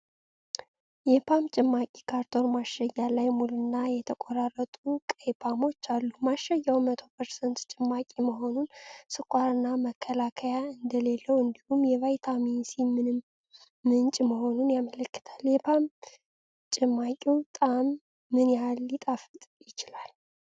የፖም ጭማቂ ካርቶን ማሸጊያ ላይ ሙሉና የተቆራረጡ ቀይ ፖሞች አሉ። ማሸጊያው 100% ጭማቂ መሆኑን፣ ስኳርና መከላከያ እንደሌለው እንዲሁም የቫይታሚን ሲ ምንጭ መሆኑን ያመለክታል። የፖም ጭማቂው ጣዕም ምን ያህል ሊጣፍጥ ይችላል?